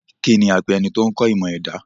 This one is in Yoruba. Kíni ẹ̀ ń pe ẹni tó kọ́ ẹ̀kọ́ ìmọ̀ ẹ̀dà?